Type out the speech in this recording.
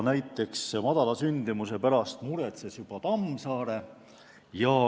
Väikese sündimuse pärast muretses juba Tammsaare.